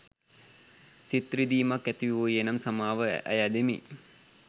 සිත් රිදීමක් ඇතිවූයේ නම් සමාව අයැදිමි